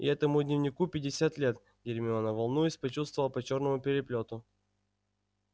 и этому дневнику пятьдесят лет гермиона волнуясь почуствовала по чёрному переплёту